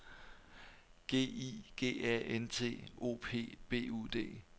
G I G A N T O P B U D